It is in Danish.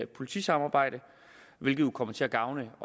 politisamarbejde hvilket jo kommer til at gavne